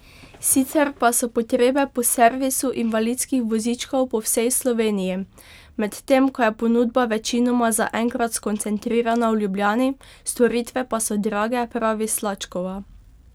Sicer pa so potrebe po servisu invalidskih vozičkov po vsej Sloveniji, medtem ko je ponudba večinoma zaenkrat skoncentrirana v Ljubljani, storitve pa so drage, pravi Slačkova.